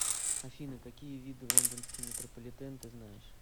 афина какие виды лондонский метрополитен ты знаешь